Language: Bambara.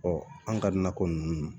an ka nakɔ ninnu